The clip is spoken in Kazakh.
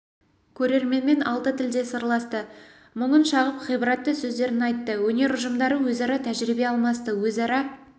көрерменмен алты тілде сырласты мұңын шағып ғибратты сөздерін айтты өнер ұжымдары өзара тәжірибе алмасты өзара